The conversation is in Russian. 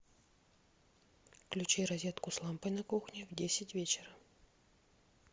включи розетку с лампой на кухне в десять вечера